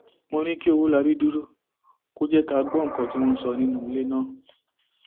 mo ní kí ọwọlábí dúró kó jẹ ká gbọ nǹkan tí wọn ń sọ nínú ilé ná